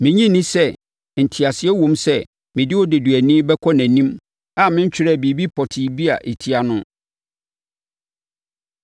Mennye nni sɛ nteaseɛ wom sɛ mede odeduani bɛkɔ nʼanim a mentwerɛɛ biribi pɔtee bi a ɛtia no!”